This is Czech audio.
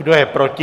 Kdo je proti?